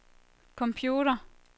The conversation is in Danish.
computer